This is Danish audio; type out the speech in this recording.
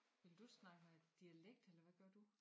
Vil du snakke med dialekt eller hvad gør du